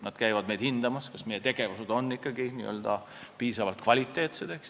Nad käivad hindamas, kas meie tegevus on ikka piisavalt kvaliteetne.